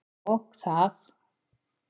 Og það.